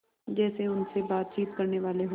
जैसे उनसे बातचीत करनेवाले हों